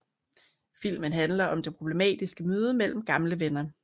Filmen handler om det problematiske møde mellem gamle venner